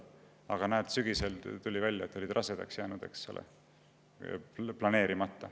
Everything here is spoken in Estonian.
Aga näed, sügisel tuli välja, et oldi planeerimata rasedaks jäänud.